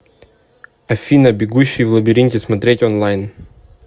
афина бегущий в лабиринте смотреть онлайн